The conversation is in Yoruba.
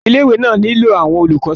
ilé ìwé náà nílò àwọn olùkọ́ sí i